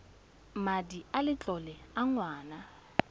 madi a letlole a ngwana